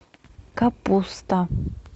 капуста